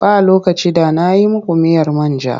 Ba lokaci da na yi muku miyar man ja.